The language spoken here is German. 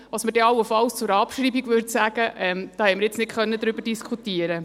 Was wir allenfalls zu einer Abschreibung sagen würden, darüber konnten wir nicht diskutieren.